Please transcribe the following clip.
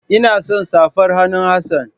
Ina son safar hannun Hassana.